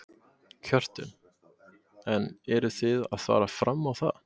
Hjörtur: En eruð þið að fara fram á það?